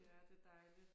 Ja det dejligt